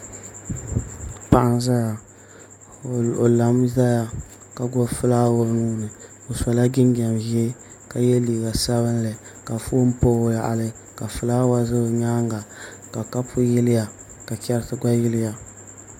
Paɣa n ʒɛya o lami ʒɛya ka gbubi fulaawa o nuuni o sola jinjɛm ʒiɛ ka yɛ liiga sabinli ka foon pa o yaɣali ka fulaawa ʒɛ o nyaanga ka kapu yiliya ka chɛriti gba yiliya